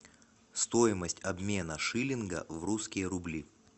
стоимость обмена шиллинга в русские рубли